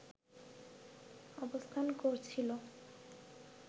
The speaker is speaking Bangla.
অবস্থান করছিলো